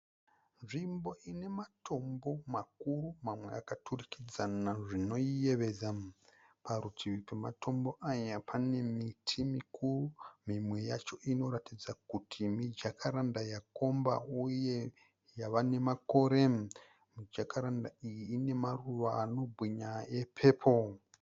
Nzvimbo ine matombo makuru mamwe akaturikidzana zvinoyevedza. Parutivi pema tombo aya pane miti mikuru. Mimwe yacho inoratidza kuti mi Jacaranda yakomba uye yava nemakore. MiJacaranda iyi ine maruva ano bwinya e pepuru.